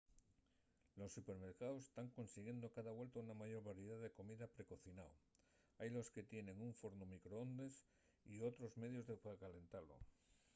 los supermercaos tán consiguiendo cada vuelta una mayor variedá de comida pre-cocinao hailos que tienen un fornu microondes o otros medios de calentalo